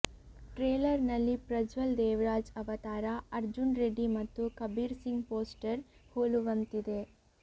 trailer ನಲ್ಲಿ ಪ್ರಜ್ವಲ್ ದೇವರಾಜ್ ಅವತಾರ ಅರ್ಜುನ್ ರೆಡ್ಡಿ ಮತ್ತು ಕಬೀರ್ ಸಿಂಗ್ ಪೋಸ್ಟರ್ ಹೋಲುವಂತಿದೆ